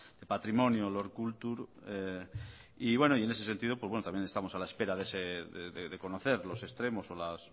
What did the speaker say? de patrimonio lord cultural resources y bueno en ese sentido pues bueno también estamos a la espera de conocer los extremos o